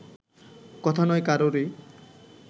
কথা নয় কারোরই